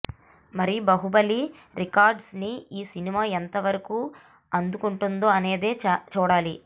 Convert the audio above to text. మరి బాహుబలి రికార్డ్స్ ని ఈ సినిమా ఎంత వరకు అందుకుంటుంది అనేది చూడాలి